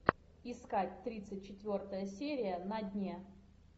искать тридцать четвертая серия на дне